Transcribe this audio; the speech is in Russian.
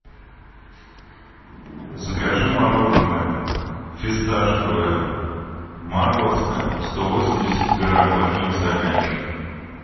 закажи мороженое фисташковое морозко сто восемьдесят грамм вафельный стаканчик